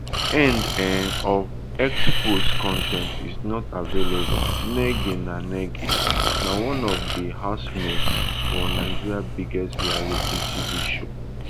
end um of x post con ten t is not available nengi na nengi na one of di housemates for nigeria biggest reality tv show